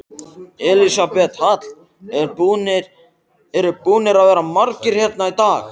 Elísabet Hall: Eru búnir að vera margir hérna í dag?